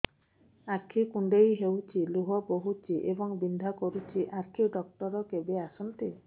ଆଖି କୁଣ୍ଡେଇ ହେଉଛି ଲୁହ ବହୁଛି ଏବଂ ବିନ୍ଧା କରୁଛି ଆଖି ଡକ୍ଟର କେବେ ଆସନ୍ତି